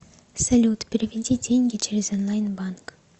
салют переведи деньги через онлайн банк